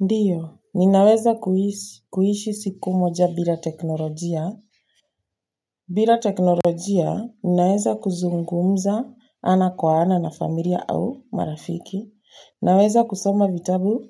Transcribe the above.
Ndiyo, ninaweza kuishi siku moja bila teknolojia. Bila teknolojia, ninaweza kuzungumza ana kwa ana na familia au marafiki. Naweza kusoma vitabu